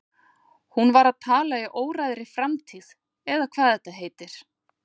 Hún var að tala í óræðri framtíð eða hvað þetta heitir.